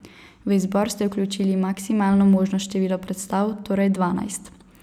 V izbor ste vključili maksimalno možno število predstav, torej dvanajst.